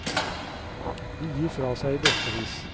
De gir fra seg i bøttevis.